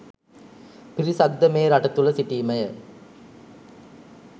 පිරිසක්ද මේ රට තුළ සිටිමය